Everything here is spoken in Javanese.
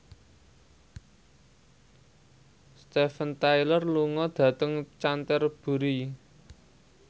Steven Tyler lunga dhateng Canterbury